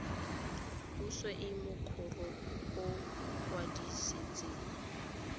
puso e mokoro o kwadisitsweng